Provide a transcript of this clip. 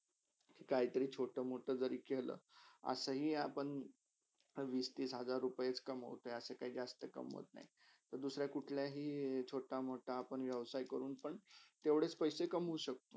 काहितरी छोट -मोठा जरी केला असही आपण वीस -तीस हजार रुपेच कमोतो असे काही जस्त कमोवत नय जर कुठल्याही छोट -मोठा व्यवसही करून पण तेवडेच पैशे कमोव शक्तो.